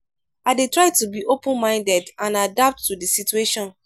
i dey try to be open-minded and adapt to di situation.